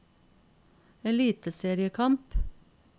eliteseriekamp